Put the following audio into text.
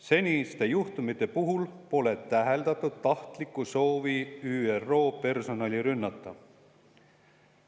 Seniste juhtumite puhul pole täheldatud tahtlikku soovi ÜRO personali rünnata.